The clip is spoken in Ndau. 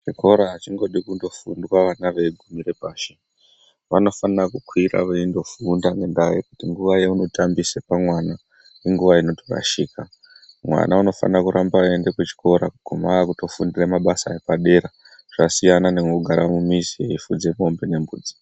Zvikora hazvingodi kungofundwa vana veigumire pashi vanofanira kukwira veindofunda ngekuti nguva yaunotambisa pamwana inguva inotorashika mwana anofanira kuramba eyienda kuchikora kuguma ava kutofundira mabasa epadera zvsiyana nekugara mumizi eyifudze mombe nembudzi.